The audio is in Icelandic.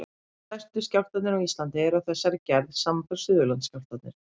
Stærstu skjálftarnir á Íslandi eru af þessari gerð, samanber Suðurlandsskjálftarnir.